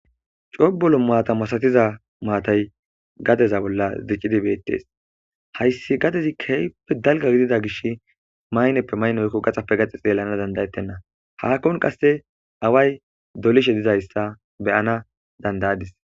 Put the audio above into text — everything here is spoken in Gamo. Cobolo maata masatiza maatay gadeza bolla zicidi beettes hayssi gadezi keeppe dalga gidida gish mayneppe mayn oykko gaxappe gax xeelana dandayettenna hakkon qasse away dolishe dizayssa beyana dandayadis.